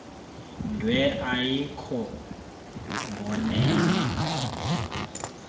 dwe ayikho mboneni